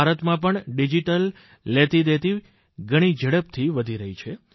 ભારતમાં પણ ડીજીટલ લેતીદેતી ઘણી ઝડપથી વધી રહી છે